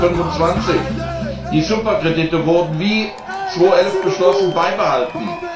2025. Die Superkredite wurden wie 2011 beschlossen beibehalten.